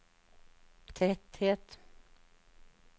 tretthet